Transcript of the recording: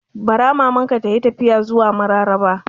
Bara Maman ka tayi tafiya zuwa Mararaba